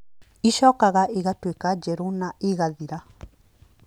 ĩcokaga ĩgatuĩka njerũ na ĩgathira.